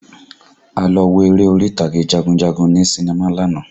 A lọ wo eré orí ìtàgé jagunjagun ní sinimá lánàá